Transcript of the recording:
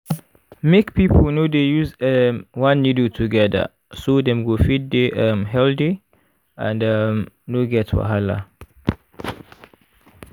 make people no dey use um one needle together so dem go fit dey um healthy and um no get wahala